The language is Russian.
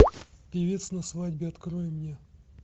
певец на свадьбе открой мне